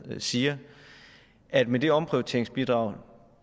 siger at med det omprioriteringsbidrag